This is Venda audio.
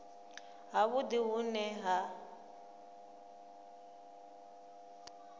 ha vhudi hu ne ha